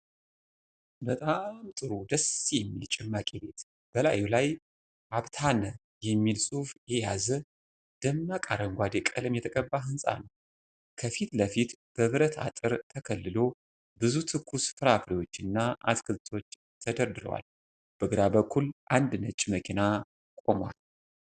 በጣም ጥሩ፣ ደስ የሚል ጭማቂ ቤት! በላዩ ላይ 'አብታነ' የሚል ጽሑፍ የያዘ፣ ደማቅ አረንጓዴ ቀለም የተቀባ ህንፃ ነው። ከፊት ለፊት፣ በብረት አጥር ተከልሎ፣ ብዙ ትኩስ ፍራፍሬዎችና አትክልቶች ተደርድረዋል። በግራ በኩል አንድ ነጭ መኪና ይቆማል።